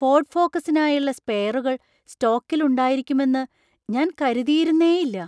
Ford ഫോക്കസിനായുള്ള സ്പെയറുകൾ സ്റ്റോക്കിൽ ഉണ്ടായിരിക്കുമെന്ന് ഞാൻ കരുതിയിരുന്നേയില്ല.